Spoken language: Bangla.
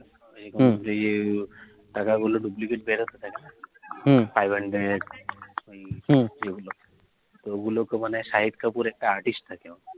হম যে টাকাগুলো duplicate বেরোতে না হম five hundred এ গুলো তো shahid kapoor তো একটা artist থাকে